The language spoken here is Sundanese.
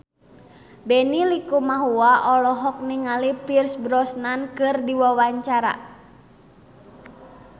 Benny Likumahua olohok ningali Pierce Brosnan keur diwawancara